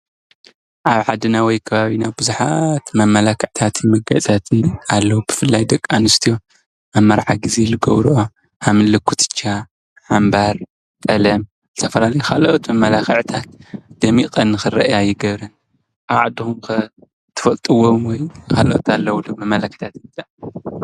ኣብ ዓድና ወይ ከባቢና ብዙሓት መመላክዕታትን መገያፅታትን ኣለዎ ብፍላይ ደቂ ኣንስትዮ ኣብ መርዓ ግዜ ዝገብርኦ ከምኒ ኩትቻ ኣምባር ቀለም ዝተፈላለዩ ካልኦት መመላክዕታት ደሚቀን ንክርአያ ይገብረን ፡፡ኣብ ዓድኩም ከ ትፈልጥዎ ወይ ካልኦት ኣለዉ ዶ?